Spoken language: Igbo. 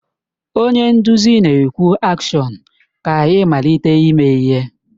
Onye nduzi na-ekwu AKSHỌN ka ịmalite ime ihe.